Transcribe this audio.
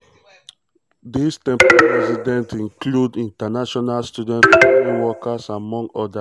dis um temporary residents include international students foreign workers amongst odas.